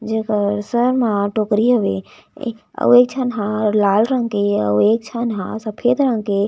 जेकर सर मा टोकरी हवे ए आऊ एक झन हा लाल रंग के आऊ एक झन हा सफ़ेद रंग के--